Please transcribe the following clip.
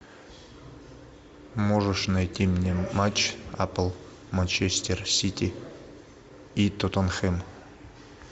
можешь найти мне матч апл манчестер сити и тоттенхэм